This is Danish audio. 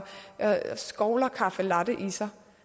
skovler caffe latte i sig